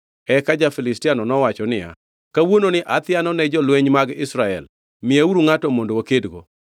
Eka ja-Filistiano nowacho niya, “Kawuononi athiano ne jolweny mag Israel! Miyauru ngʼato mondo wakedgo.”